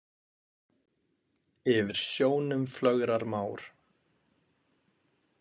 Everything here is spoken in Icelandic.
Yfir sjónum flögrar már.